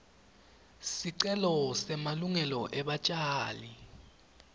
sicelo semalungelo ebatjali